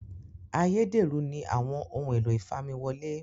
Ayédèrú ni àwọn ohun èlò ìfamiwọlẹ́